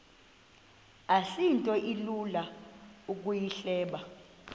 asinto ilula ukuyihleba